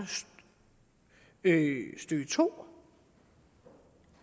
stykke to